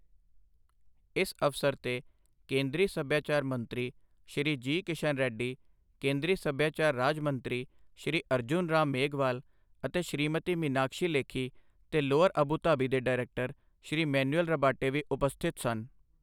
ਇਸ ਅਵਸਰ ਤੇ ਕੇਂਦਰੀ ਸੱਭਿਆਚਾਰ ਮੰਤਰੀ, ਸ਼੍ਰੀ ਜੀ. ਕਿਸ਼ਨ ਰੈੱਡੀ, ਕੇਂਦਰੀ ਸੱਭਿਆਚਾਰ ਰਾਜ ਮੰਤਰੀ ਸ਼੍ਰੀ ਅਰਜੁਨ ਰਾਮ ਮੇਘਵਾਲ ਅਤੇ ਸ਼੍ਰੀਮਤੀ ਮੀਨਾਕਸ਼ੀ ਲੇਖੀ ਤੇ ਲੌਵਰ ਅਬੂ ਧਾਬੀ ਦੇ ਡਾਇਰੈਕਟਰ, ਸ਼੍ਰੀ ਮੈਨੁਅਲ ਰਬਾਟੇ ਵੀ ਉਪਸਥਿਤ ਸਨ।